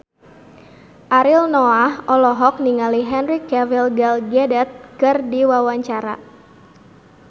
Ariel Noah olohok ningali Henry Cavill Gal Gadot keur diwawancara